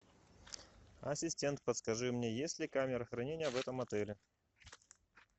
ассистент подскажи мне есть ли камера хранения в этом отеле